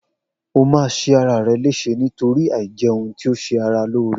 O ma ṣe ara rè léṣe nítorí àìjẹ ohun tí ọ ṣe ara lóore